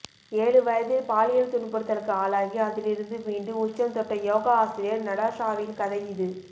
ஏழு வயதில் பாலியல் துன்புறுத்தலுக்கு ஆளாகி அதிலிருந்து மீண்டு உச்சம் தொட்ட யோகா ஆசிரியர் நடாஷாவின் கதை இது